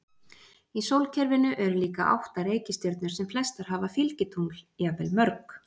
Í sólkerfinu eru líka átta reikistjörnur sem flestar hafa fylgitungl, jafnvel mörg.